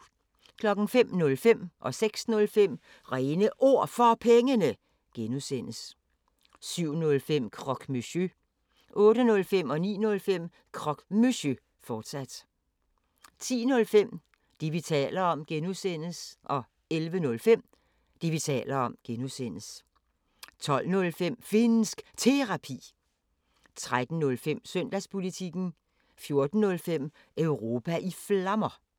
05:05: Réne Ord For Pengene (G) 06:05: Réne Ord For Pengene (G) 07:05: Croque Monsieur 08:05: Croque Monsieur, fortsat 09:05: Croque Monsieur, fortsat 10:05: Det, vi taler om (G) 11:05: Det, vi taler om (G) 12:05: Finnsk Terapi 13:05: Søndagspolitikken 14:05: Europa i Flammer